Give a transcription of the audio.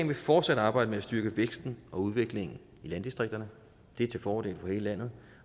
vil fortsat arbejde med at styrke væksten og udviklingen i landdistrikterne det er til fordel for hele landet